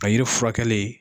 Ka yiri furakɛli.